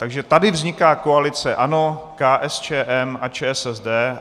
Takže tady vzniká koalice ANO, KSČM a ČSSD.